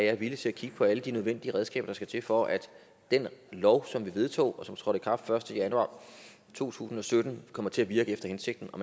er villig til at kigge på alle de nødvendige redskaber der skal til for at den lov som vi vedtog og som trådte i kraft første januar to tusind og sytten kommer til at virke efter hensigten og